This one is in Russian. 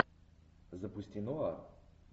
запусти нуар